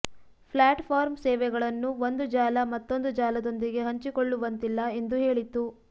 ಪ್ಲ್ಯಾಟ್ form ಸೇವೆಗಳನ್ನು ಒಂದು ಜಾಲ ಮತ್ತೊಂದು ಜಾಲದೊಂದಿಗೆ ಹಂಚಿಕೊಳ್ಳುವಂತಿಲ್ಲ ಎಂದೂ ಹೇಳಿತ್ತು